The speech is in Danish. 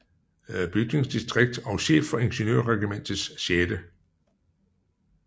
Bygningsdistrikt og chef for Ingeniørregimentets 6